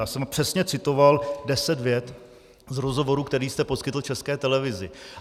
Já jsem přesně citoval deset vět z rozhovoru, který jste poskytl České televizi.